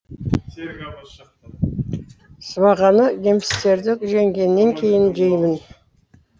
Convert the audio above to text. сыбағаны немістерді жеңгеннен кейін жеймін